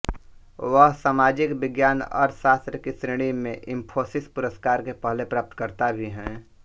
वह सामाजिक विज्ञान अर्थशास्त्र की श्रेणी में इन्फोसिस पुरस्कार के पहले प्राप्तकर्ता भी हैं